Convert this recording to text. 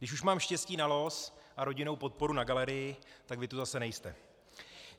Když už mám štěstí na los a rodinnou podporu na galerii, tak vy tu zase nejste.